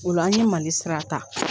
Ola an ye Mali sira ta.